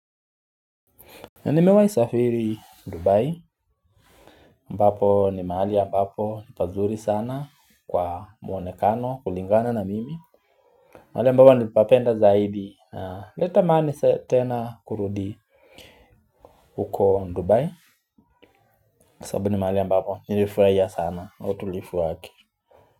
Nimewai safiri Dubai ambapo ni mahali mbapo ni pazuri sana kwa mwonekano kulingana na mimi mahali ambapo nili papenda zaidi leta mahali tena kurudi huko Dubai. Sabu ni mahali mbapo nilifurahia sana utulifu wake.